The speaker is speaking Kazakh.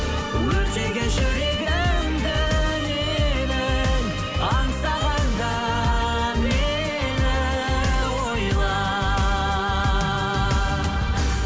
өртеген жүрегімді менің аңсағанда мені ойла